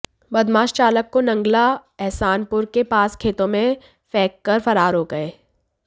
बदमाश चालक को नंगला अहसानपुर के पास खेतों में फेंककर फरार हो गए